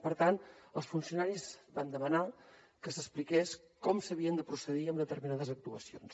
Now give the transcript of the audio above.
per tant els funcionaris van demanar que s’expliqués com s’havia de procedir en determinades actuacions